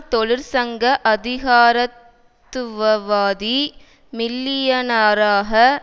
தொழிற்சங்க அதிகாரத்துவவாதி மில்லியனராக